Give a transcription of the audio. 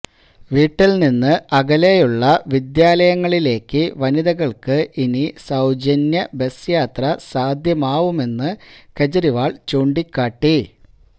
വീട്ടിൽ നിന്ന് അകലയെുള്ള വിദ്യാലയങ്ങളിലേക്കു വനിതകൾക്ക് ഇനി സൌജന്യ ബസ് യാത്ര സാധ്യമാവുമെന്ന് കെജ്രിവാൾ ചൂണ്ടിക്കാട്ടി